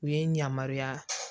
U ye n yamaruya